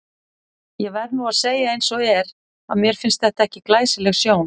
Ég verð nú að segja eins og er, að mér fannst þetta ekki glæsileg sjón.